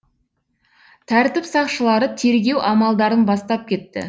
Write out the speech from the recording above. тәртіп сақшылары тергеу амалдарын бастап кетті